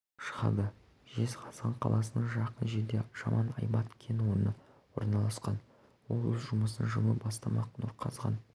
шығады жезқазған қаласына жақын жерде жаман-айбат кен орны орналасқан ол өз жұмысын жылы бастамақ нұрқазған